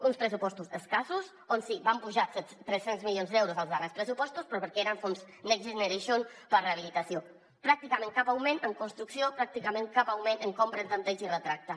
uns pressupostos escassos on sí van apujar tres cents milions d’euros als darrers pressupostos però perquè eren fons next generation per a rehabilitació pràcticament cap augment en construcció pràcticament cap augment en compra en tanteig i retracte